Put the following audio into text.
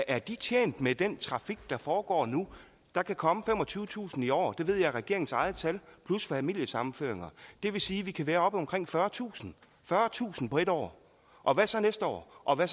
er de tjent med den trafik der foregår nu der kan komme femogtyvetusind i år det ved jeg er regeringens eget tal plus familiesammenføringer det vil sige at vi kan være oppe på omkring fyrretusind fyrretusind på et år og hvad så næste år og hvad